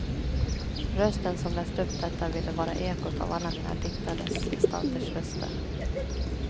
Rösten som läst upp detta ville vara ekot av alla mina diktades gestalters röster.